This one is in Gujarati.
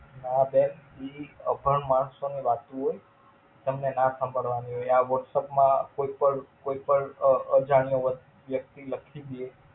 ના બેન ઈ અભણ માણસો ને લાગતું હોઈ. તમને ના ખબર હોઈ ઈ આ whattsap માં કોઈ પણ કોઈ પણ અઅઅઅ અજાણ્યો વ્યક્તિ લખી દીયે.